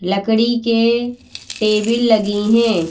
लकड़ी के टेबल लगी हैं।